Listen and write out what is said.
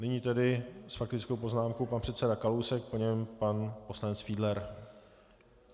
Nyní tedy s faktickou poznámkou pan předseda Kalousek, po něm pan poslanec Fiedler.